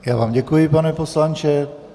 Já vám děkuji, pane poslanče.